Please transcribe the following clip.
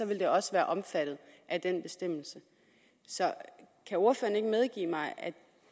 vil det også være omfattet af den bestemmelse så kan ordføreren ikke medgive mig at